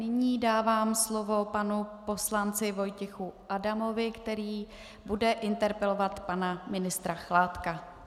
Nyní dávám slovo panu poslanci Vojtěchu Adamovi, který bude interpelovat pana ministra Chládka.